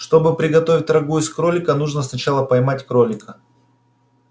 чтобы приготовить рагу из кролика нужно сначала поймать кролика